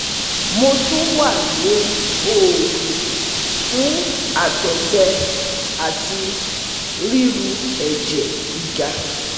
Mo tun wa lori oogun fun àtọgbẹ ati riru ẹjẹ giga